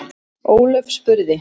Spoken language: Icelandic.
Ólöf spurði: